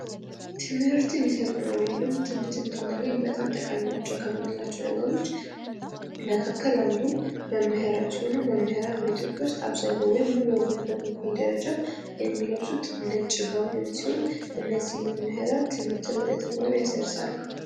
ትምህርትን ይሰጡናል ወይም ደግሞ ትምህርትን እንዳናገኝ በጣም ጠቃሚ ናቸው ከምንላቸው ነገሮች መካከል አንዱ መምህራን ሲሆኑ መምህራን በኢትዮጵያ ውስጥ አብዛኛው ወይም ሙሉ በሙሉ በሚባል ደረጃ የሚለብሱት ነጭ ጋዎንን ሲሆን መምህራን ትምህርትን ለተማሪው ያሰርጻሉ።